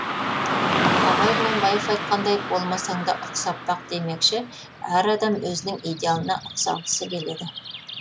абай құнанбаев айтқандай болмасаңда ұқсап бақ демекші әр адам өзінің идеалына ұқсағысы келеді